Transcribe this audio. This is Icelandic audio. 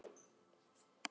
Vonar annað.